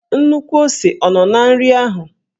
Nnukwu ose ọ nọ na nri ahụ?